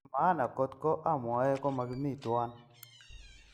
Nepo maana kot ko amwei koma kimi tuwan.